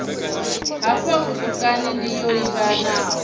hafha vhutukani ndi yo livhanaho